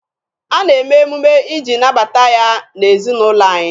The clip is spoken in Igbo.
A na-eme emume iji nabata ya n'ezinaụlọ anyị.